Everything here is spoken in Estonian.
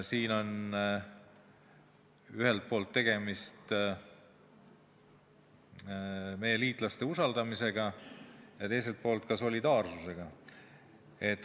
Siin on ühelt poolt tegemist meie liitlaste usaldamisega ja teiselt poolt solidaarsusega.